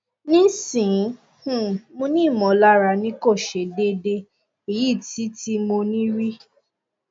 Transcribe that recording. nisin um mo ni imolara nikose dede eyi ti ti mo ni ri